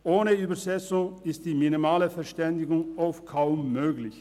Ohne Übersetzung ist eine minimale Verständigung vielfach kaum möglich.